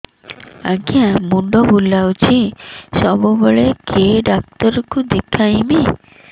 ଆଜ୍ଞା ମୁଣ୍ଡ ବୁଲାଉଛି ସବୁବେଳେ କେ ଡାକ୍ତର କୁ ଦେଖାମି